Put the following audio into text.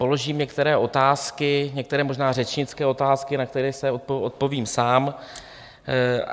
Položím některé otázky, některé možná řečnické otázky, na které si odpovím sám.